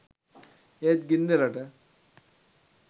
ඒත් ගින්දරට